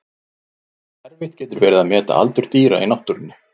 Erfitt getur verið að meta aldur dýra í náttúrunni.